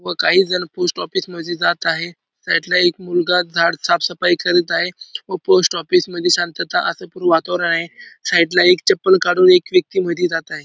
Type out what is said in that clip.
व काही जण पोस्ट ऑफिस मध्ये जात आहे साइड एक मुलगा झाड साफसफाई करत आहे व पोस्ट ऑफिस मध्ये शांतता असं पूर्व वातावरण आहे साइड ला एक चपल काडून एक व्यक्ती आत मध्ये जात आहे.